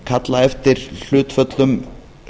kalla eftir hlutföllum